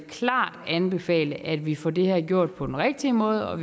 anbefale at vi får det her gjort på den rigtige måde og